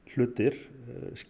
hlutir